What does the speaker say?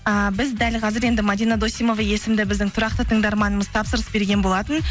ааа біз дәл қазір енді мадина досимова есімді біздің тұрақты тыңдарманымыз тапсырыс берген болатын